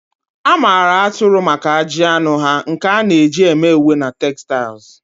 A maara atụrụ maka ajị anụ ha, nke a na-eji eme uwe na textiles